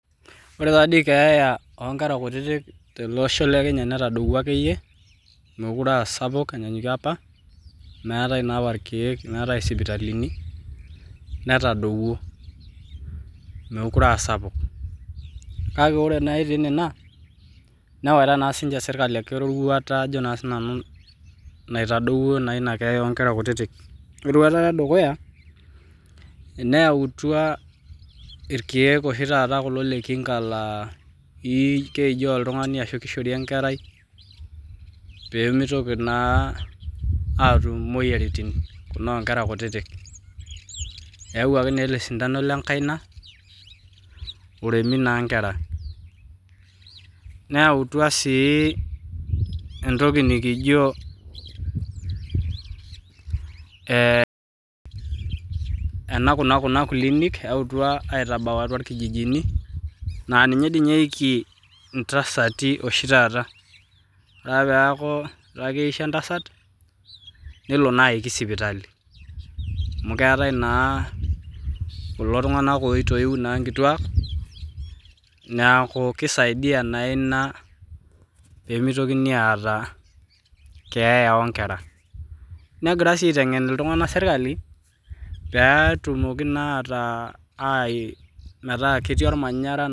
The death of small children in our country Kenya has drop it is big like before when there was no medicine and hospital so it has drop not big but also the government has taken a step that has lead to the drop of the death of small children the first step is by bringing medicine of prevention that can be swallow or given to the child so that disease cannot get in small children they have bring the injection in the hand to kids they have also brought something we called eh. Clinics in the villages that it is where mothers get birth to this days when a mother is almost getting birth she goes to the clinic because there are midwives so it helps to stop death of kids the government are also teaching people to be in an environment....